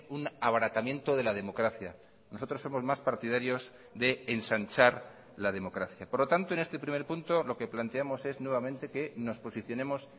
un abaratamiento de la democracia nosotros somos más partidarios de ensanchar la democracia por lo tanto en este primer punto lo que planteamos es nuevamente que nos posicionemos